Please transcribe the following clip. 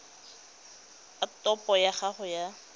a topo ya gago ya